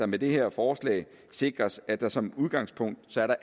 med det her forslag sikres at der som udgangspunkt